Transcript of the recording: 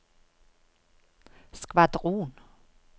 skvadron